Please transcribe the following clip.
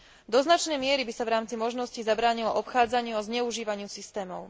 Do značnej miery by sa v rámci možností zabránilo obchádzaniu a zneužívaniu systémov.